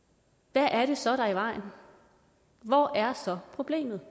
hvad er det så der er i vejen hvor er så problemet